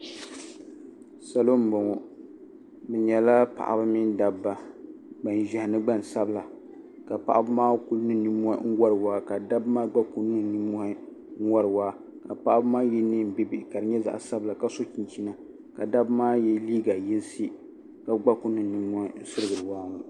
salo m-bɔŋɔ bɛ nyɛla paɣiba mini dabba gban'ʒɛhi ni gban'sabila ka paɣiba maa ku niŋ nimmohi n-wari wahi ka dabba maa gba ku niŋ nimmohi n-wari waa ka paɣiba maa ye neen'bihibihi ka di nye zaɣ'sabila ka so chinchina ka dabba maa ye neen'yinsi ka gba ku niŋ nimmohi n-sirigiri waa ŋɔ